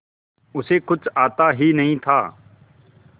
उसे कुछ आता ही नहीं था